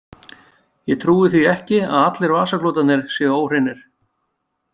Ég trúi því ekki að allir vasaklútarnir séu óhreinir.